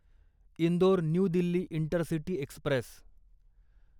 Indore New Delhi intercity Express